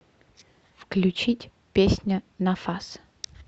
включить песня нафас